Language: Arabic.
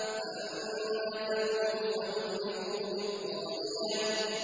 فَأَمَّا ثَمُودُ فَأُهْلِكُوا بِالطَّاغِيَةِ